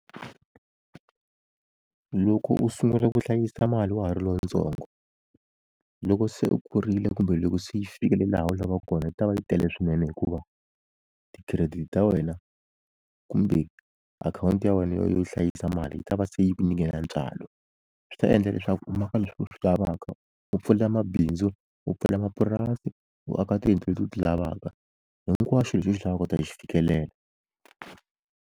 Loko u sungula ku hlayisa mali wa ha ri lontsongo loko se u kurile kumbe loko se yi fikile laha u lavaka kona yi ta va yi tele swinene hikuva ti-credit ta wena kumbe akhawunti ya wena yo yo hlayisa mali yi ta va se yi ku nyike na ntswalo swi ta endla leswaku u maka leswi u swi lavaka u pfulela mabindzu u pfala mapurasi u aka tiyindlu leti u ti lavaka hinkwaxu lexi u xi lavaka u ta xi fikelela.